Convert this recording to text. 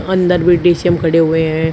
अंदर भी डी_सी_एम में खड़े हुए हैं।